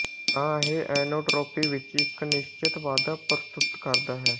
ਤਾਂ ਇਹ ਐਨਟ੍ਰੋਪੀ ਵਿੱਚ ਇੱਕ ਨਿਸ਼ਚਿਤ ਵਾਧਾ ਪ੍ਰਸਤੁਤ ਕਰਦਾ ਹੈ